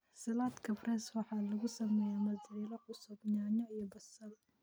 Salad Caprese waxaa lagu sameeyay mozzarella cusub, yaanyo iyo basil.